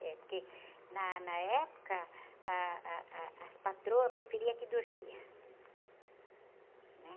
É, porque, na, na época, ah, ah, ah, as patroas preferiam que dormia.